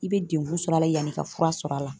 I be dekun sɔrɔ a la, yani i ka fura sɔrɔ a la.